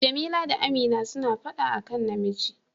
Jamila da Amina suna fada a kan namiji.